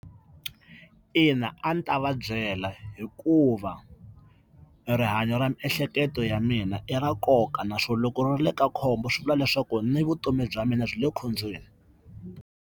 Ina a ndzi ta va byela hikuva rihanyo ra miehleketo ya mina i ra nkoka naswona loko ri le ka khombo swi vula leswaku ni vutomi bya mina byi le khombyeni.